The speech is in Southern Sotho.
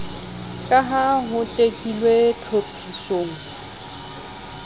ka ha ho tekilwe tlhophisong